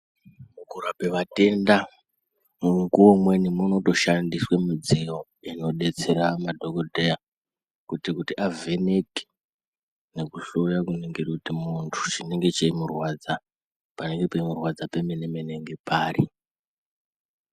Mukurape vatenda mumukuwo umweni munotoshandiswe mudziyo inodetsera madhokodheya kuti avheneke nekuhloya kunenge kuri kuti muntu chinenge cheimurwadza panenge peimurwandza pemenemene ngepari.